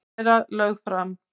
Kæra lögð fram